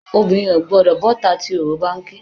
Obìnrin ò gbọ́dọ̀ bọ́ta tí oró bá ń ké.